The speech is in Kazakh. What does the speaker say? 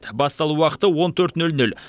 басталу уақыты он төрт нөл нөл